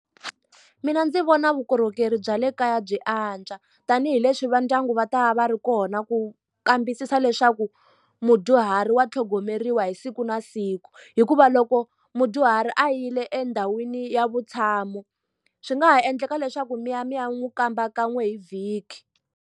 Mina ndzi vona vukorhokeri bya le kaya byi antswa tanihileswi va ndyangu va ta va ri kona ku kambisisa leswaku mudyuhari wa tlhogomeriwa hi siku na siku hikuva loko mudyuhari a yile endhawini ya vutshamo swi nga ha endleka leswaku mi ya mi ya n'wi kamba kan'we hi vhiki.